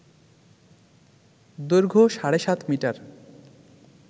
দৈর্ঘ্য সাড়ে সাত মিটার